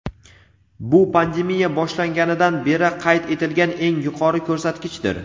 Bu pandemiya boshlanganidan beri qayd etilgan eng yuqori ko‘rsatkichdir.